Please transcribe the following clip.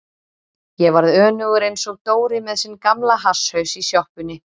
Ég varð önugur einsog Dóri með sinn gamla hasshaus í sjoppunni.